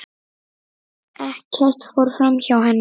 Ekkert fór framhjá henni.